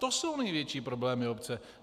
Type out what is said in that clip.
To jsou největší problémy obce.